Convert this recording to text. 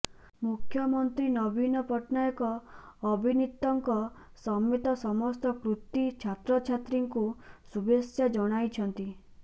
ମୁଖ୍ୟମନ୍ତ୍ରୀ ନବୀନ ପଟ୍ଟନାୟକ ଅବିନୀତଙ୍କ ସମେତ ସମସ୍ତ କୃତି ଛାତ୍ରଛାତ୍ରୀଙ୍କୁ ଶୁଭେଚ୍ଛା ଜଣାଇଛନ୍ତି